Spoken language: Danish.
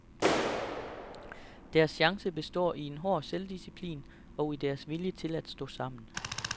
Deres chance består i en hård selvdisciplin, og i deres vilje til at stå sammen.